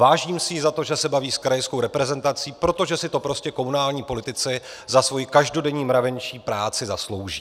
Vážím si jí za to, že se baví s krajskou reprezentací, protože si to prostě komunální politici za svoji každodenní mravenčí práci zaslouží.